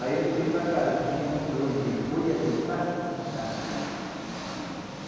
Aí ele foi para casa, tinha um embrulho de folha de casca sacaca.